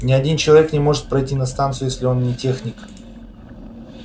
ни один человек не может пройти на станцию если он не техник